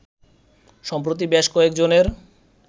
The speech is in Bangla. সম্প্রতি বেশ কয়েকজনের